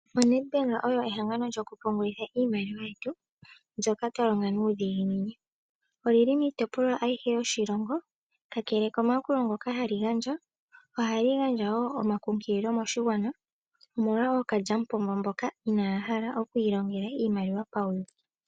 ONedBank oyo ehangano ndoka hatu pungulitha iimaliwa yetu ndjoka twalonga nuudhiginini. Olili miitopolwa ayihe yoshilongo. Kakele komaakulo ngoka hali gandja ohali gandja wo omankunkililo moshigwana omolwa ookalyamupombo mboka inaya hala okwiilongela iimaliwa pauyuki.